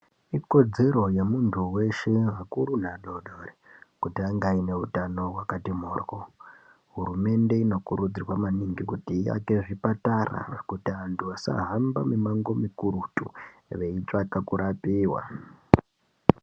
Ikodzero yemuntu weshe akuru neadodori kuti ange aine utano hwakati mhoryo. Hurumende inokurudzirwa maningi kuti, iake zvipatara zvekuti anhu asahamba mimango mikurutu, veitsvaka kurapiwa.